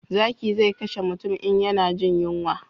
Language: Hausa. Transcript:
Zaki zai kashe mutum in ya na jin yunwa